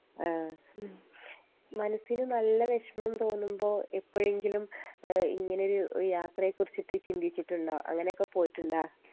ആ മനസിന് നല്ല വേഷ്‌മം തോന്നുമ്പോ എപ്പഴെങ്കിലും ഏഹ് ഇങ്ങനൊരു യാത്രെ കുറിച്ചിട്ട് ചിന്തിച്ചിട്ടുണ്ടോ അങ്ങനക്കെ പോയിട്ട്ണ്ടോ